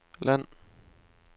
land